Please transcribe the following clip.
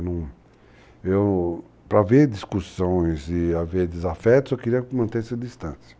eu, para haver discussões e haver desafetos, eu queria manter-se a distância.